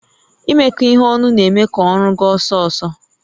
Imekọ ihe ọnụ na-eme ka ọrụ gaa ọsọ ọsọ